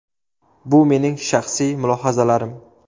Bu mening shaxsiy mulohazalarim.